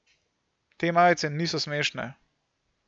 Te majice niso smešne.